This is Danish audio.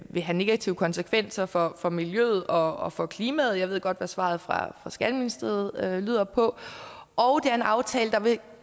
vil have negative konsekvenser for for miljøet og for klimaet og jeg ved godt hvad svaret fra skatteministeriet lyder på og er en aftale der vil